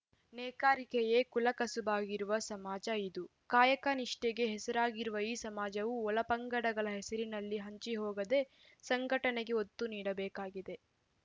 ನೇಕಾರಿಕೆಯೇ ಕುಲ ಕಸುಬಾಗಿರುವ ಸಮಾಜ ಇದು ಕಾಯಕ ನಿಷ್ಟೆಗೆ ಹೆಸರಾಗಿರುವ ಈ ಸಮಾಜವು ಒಳ ಪಂಗಡಗಳ ಹೆಸರಿನಲ್ಲಿ ಹಂಚಿ ಹೋಗದೆ ಸಂಘಟನೆಗೆ ಒತ್ತು ನೀಡಬೇಕಾಗಿದೆ